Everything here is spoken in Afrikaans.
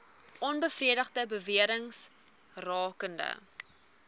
onbevestigde bewerings rakende